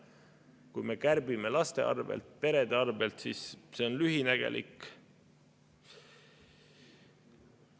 Kui me kärbime laste arvel, perede arvel, siis see on lühinägelik.